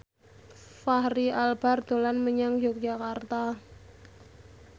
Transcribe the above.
Fachri Albar dolan menyang Yogyakarta